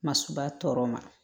Masuruba tɔ ma